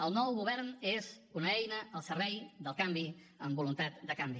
el nou govern és una eina al servei del canvi amb voluntat de canvi